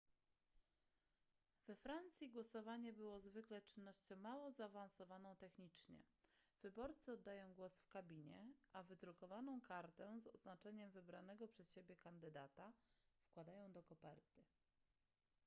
we francji głosowanie było zwykle czynnością mało zaawansowaną technicznie wyborcy oddają głos w kabinie a wydrukowaną kartę z oznaczeniem wybranego przez siebie kandydata wkładają do koperty